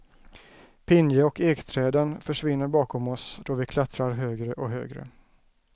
Pinje och ekträden försvinner bakom oss då vi klättrar högre och högre.